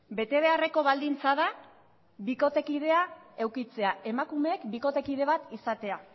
bete beharreko baldintza da bikotekidea edukitzea emakumeek bikotekide bat izatea